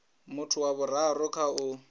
muthu wa vhuraru kha u